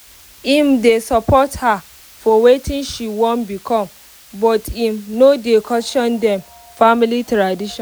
im dey support her for wetin she wan become but im um no dey question dem um family tradition